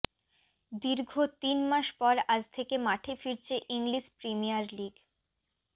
দীর্ঘ তিন মাস পর আজ থেকে মাঠে ফিরছে ইংলিশ প্রিমিয়ার লিগ